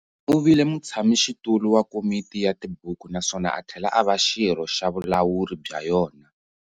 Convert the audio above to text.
Uvile mutshamixitulu wa Komiti ya tibuku naswona athlela ava Xirho xavulawuri bya yona.